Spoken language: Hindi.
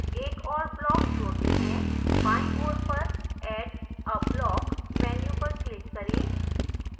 एक और block जोडते हैं बायीं ओर पर add a block menu पर click करें